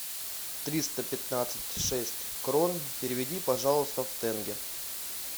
триста пятнадцать шесть крон переведи пожалуйста в тенге